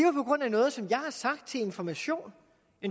er på grund af noget som jeg har sagt til information